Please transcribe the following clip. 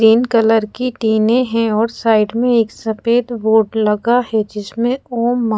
तीन कलर की टीने है और साइड में एक सफेद बोर्ड लगे है जिसमे ॐ मांग--